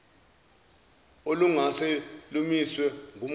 olungase lumiswe ngumgomo